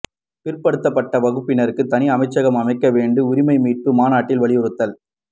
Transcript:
பிற்படுத்தப்பட்ட வகுப்பினருக்கு தனி அமைச்சகம் அமைக்க வேண்டும் உரிமை மீட்பு மாநாட்டில் வலியுறுத்தல்